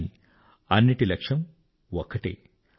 కానీ అన్నిటి లక్ష్యము ఒక్కటే